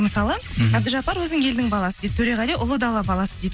мысалы мхм әбдіжаппар өзін елдің баласы дейді төреғали ұлы дала баласы дейді